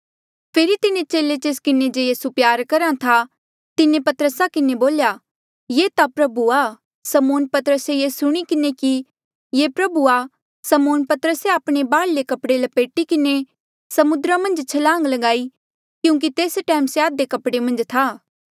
फेरी तिन्हें चेले जेस किन्हें जे यीसू प्यार करहा था तिन्हें पतरसा किन्हें बोल्या ये ता प्रभु आ समौन पतरसे ये सुणी किन्हें कि ये प्रभु आ समौन पतरसे आपणे बाहर्ले कपड़े लपेटी किन्हें समुद्रा मन्झ छलांग ल्गाई क्यूंकि तेस टैम से आधे कपड़े मन्झ था